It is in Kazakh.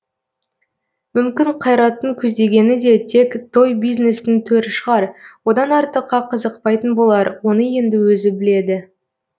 мүмкін қайраттың көздегені де тек тойбизнестің төрі шығар одан артыққа қызықпайтын болар оны енді өзі біледі